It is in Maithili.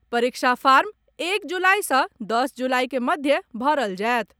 परीक्षा फार्म एक जुलाई सॅ दस जुलाई के मध्य भरल जाएत।